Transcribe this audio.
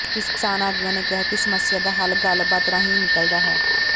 ਕਿਸਾਨ ਆਗੂਆਂ ਨੇ ਕਿਹਾ ਕਿ ਸਮੱਸਿਆ ਦਾ ਹੱਲ ਗੱਲਬਾਤ ਰਾਹੀਂ ਹੀ ਨਿਕਲਦਾ ਹੈ